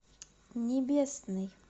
небесный